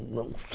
Não sou